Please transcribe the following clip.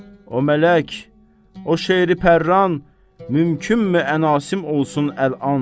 O mələk, o şeiri pərran mümkünmü ənasim olsun əlan.